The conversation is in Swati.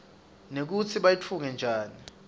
nekutsi bayitfunge njani